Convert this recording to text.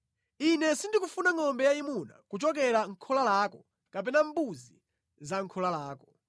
Ine sindikufuna ngʼombe yayimuna kuchokera mʼkhola lako kapena mbuzi za mʼkhola lako,